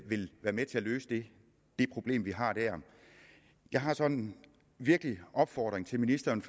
vil være med til at løse det det problem vi har der jeg har så en virkelig opfordring til ministeren